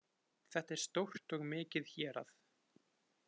Þetta er stórt og mikið hérað